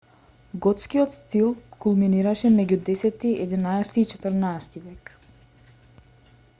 готскиот стил кулминираше меѓу 10 и 11 век и 14 век